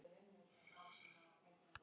Susan, hvernig er veðrið úti?